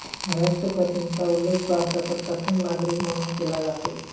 राष्ट्रपतींचा उल्लेख भारताचा प्रथम नागरिक म्हणून केला जातो